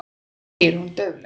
segir hún dauflega.